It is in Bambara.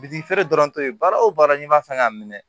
Bitiki feere dɔrɔn to ye baara o baara n'i ma fɛn k'a minɛ